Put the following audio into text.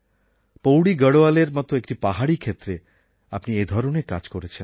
পৌড়ী গাড়োয়ালের মত একটি পাহাড়ি ক্ষেত্রে আপনি এধরনের কাজ করেছেন